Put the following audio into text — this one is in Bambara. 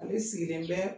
Ale sigilen bɛ